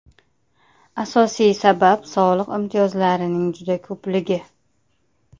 Asosiy sabab soliq imtiyozlarining juda ko‘pligi.